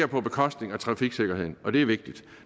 på bekostning af trafiksikkerheden og det er vigtigt